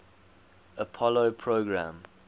apollo program